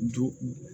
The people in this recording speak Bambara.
Don